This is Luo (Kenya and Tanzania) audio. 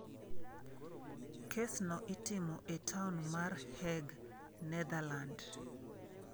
Kesno itimo e taon mar Hague, Netherland.